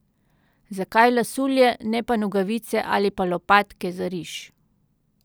Zakaj lasulje, ne pa nogavice ali pa lopatke za riž?